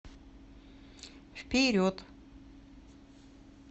вперед